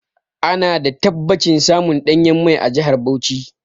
Ana da tabbacin samun ɗanyen mai a jahar Bauchi.